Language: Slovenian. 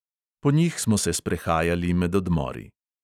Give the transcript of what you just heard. Po njih smo se sprehajali med odmori.